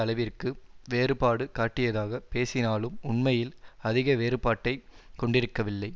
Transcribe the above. அளவிற்கு வேறுபாடு காட்டியதாக பேசினாலும் உண்மையில் அதிக வேறுபாட்டை கொண்டிருக்கவில்லை